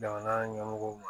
Jamana ɲɛmɔgɔw ma